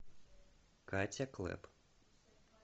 катя клэп